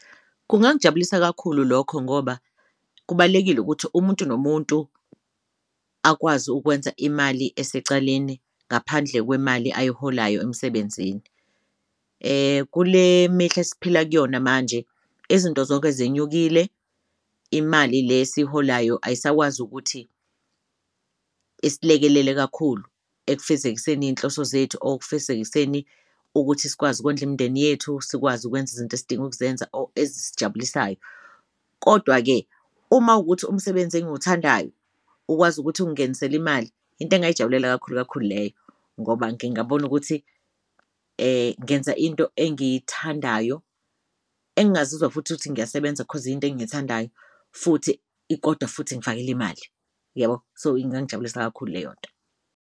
Kungangijabulisa kakhulu lokho ngoba kubalulekile ukuthi umuntu nomuntu akwazi ukwenza imali esecaleni ngaphandle kwemali ayiholayo emsebenzini. Kule mihla esiphila kuyona manje izinto zonke zenyukile, imali le esiyiholayo ayisakwazi ukuthi isilekelele kakhulu ekufezekiseni izinhloso zethu or ekufezekiseni ukuthi sikwazi ukondla imindeni yethu, sikwazi ukwenza izinto esidinga ukuzenza or ezijabulisayo. Kodwa-ke uma ukuthi umsebenzi engiwuthandayo ukwazi ukuthi ungenisele imali into engayijabulela kakhulu kakhulu leyo ngoba ngingabona ukuthi ngenza into engiyithandayo engazizwa futhi ukuthi ngiyasebenza ngoba into engiyithandayo futhi koda futhi ingifakela imali, yabo? So, ingangijabulisa kakhulu leyo nto.